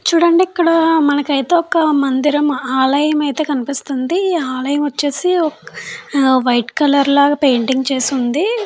చూడండి ఇక్కడ మనకైతే ఒక్క మందిరం ఆలయం అయితే కనిపిస్తుంది ఆలయం వచ్చేసి అ వైట్ కలర్ లాగా పెయింటింగ్ చేసి ఉంది.